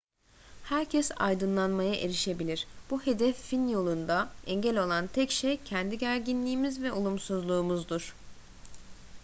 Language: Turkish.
herkes aydınlanmaya erişebilir bu hedefin yolunda engel olan tek şey kendi gerginliğimiz ve olumsuzluğumuzdur